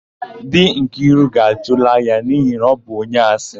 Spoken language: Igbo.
Di Nkiru ga-achụla ya n'ihi na ọ bụ onye asị.